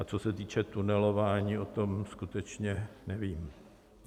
A co se týče tunelování, o tom skutečně nevím.